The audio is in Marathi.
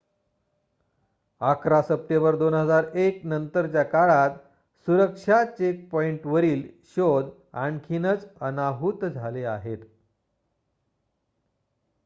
११ सप्टेंबर २००१ नंतरच्या काळात सुरक्षा चेकपॉइंटवरील शोध आणखीनच अनाहूत झाले आहेत